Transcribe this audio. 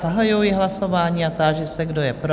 Zahajuji hlasování a táži se, kdo je pro?